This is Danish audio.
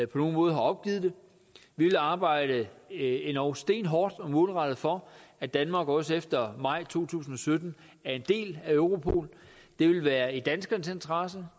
på nogen måde har opgivet det vi vil arbejde endog stenhårdt og målrettet for at danmark også efter maj to tusind og sytten er en del af europol det vil være i danskernes interesse